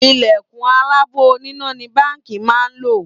Ìlẹ̀kùn aláàbò oníná ni Báńkì máa ń lò